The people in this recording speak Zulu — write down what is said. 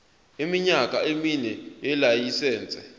iminyaka emine yelayisense